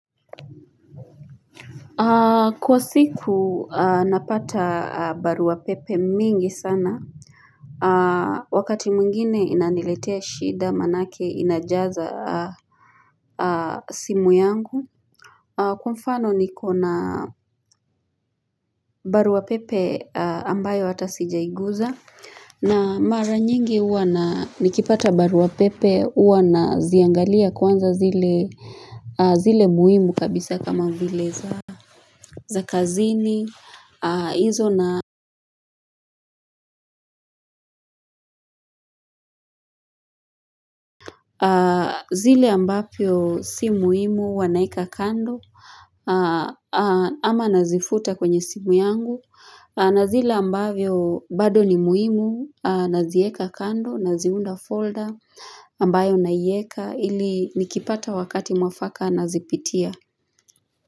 Kwa siku napata barua pepe mingi sana wakati mwingine inaniletea shida maana yake inajaza simu yangu kwa mfano nikobna baruabpepe ambayo hata sijaiguza na mara nyingi uwa na nikipata barua pepe uwa na ziangalia kwanza zile zile muhimu kabisa kama vile za za kazini izo na zile ambavyo si muhimu huwa naweka kando ama nazifuta kwenye simu yangu na zile ambavyo bado ni muhimu nazieka kando naziunda folder ambayo naieka ili nikipata wakati mwafaka nazipitia.